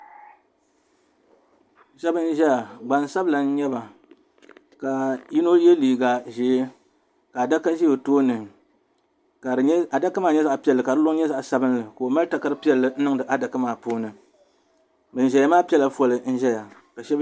Shebi n ʒaya gbansabila n nyɛba ka yinɔ ye liiga ʒɛɛ ka adaka ʒɛ ɔtooni ka adaka maa nyɛ zaɣi piɛli ka di liŋ nyɛ zaɣi sabinli ka ɔ mali takari piɛli n niŋdi adaka maa ni bɛn ʒaya maa pɛla fcli n ʒɛya.